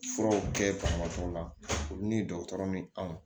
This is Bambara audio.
Furaw kɛ banabagatɔw la olu ni dɔgɔtɔrɔ min anw